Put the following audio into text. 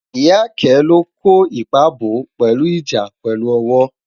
ìyá ké lo kò ipa bọ, pelu ìjà pèlú owo